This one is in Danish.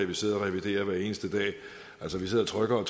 vi sidder og reviderer hver eneste dag altså vi sidder og trykker